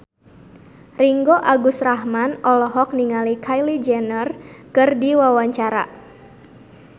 Ringgo Agus Rahman olohok ningali Kylie Jenner keur diwawancara